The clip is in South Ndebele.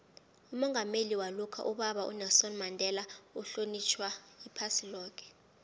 umongameli walokha ubaba unelson mandela uhlonitjhwa iphasi loke